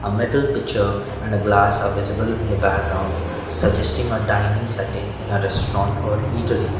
metal picture and a glass are visible in the background suggesting a dining setting in a restaurant or eatery.